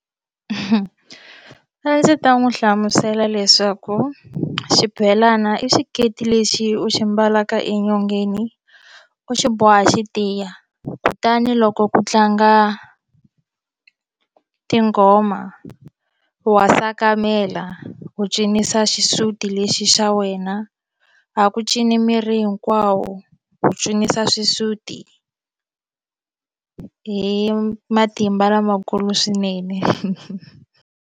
A ndzi ta n'wi hlamusela leswaku xibelana i xiketi lexi u xi mbalaka enyongeni u xi boha xi tiya kutani loko ku tlanga tinghoma wa sakamela u cinisa xisuti lexi xa wena a ku cini miri hinkwawo u cinisa xisuti hi matimba lamakulu swinene.